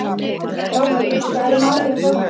Láki, hvað er í matinn á föstudaginn?